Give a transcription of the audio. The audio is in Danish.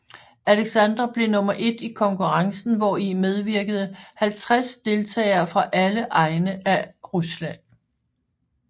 Aleksandra blev nummer et i konkurrencen hvori medvirkede 50 deltagere fra alle egne af Rusland